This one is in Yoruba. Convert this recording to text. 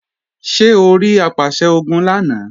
Ṣé orí Apàṣẹ-Ogun lánàá?